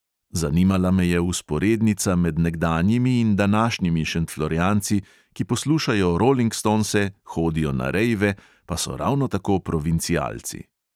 Zanimala me je vzporednica med nekdanjimi in današnjimi šentflorjanci, ki poslušajo rolingstonse, hodijo na rejve, pa so ravno tako provincialci.